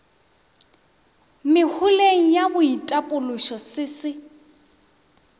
meholeng ya boitapološo se se